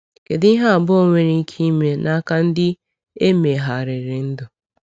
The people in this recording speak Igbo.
Kedu ihe abụọ nwere ike ime n’aka ndị e megharịrị ndụ?